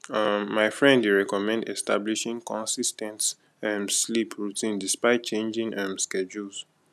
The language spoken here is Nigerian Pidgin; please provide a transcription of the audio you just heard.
um my friend dey recommend establishing consis ten t um sleep routine despite changing um schedules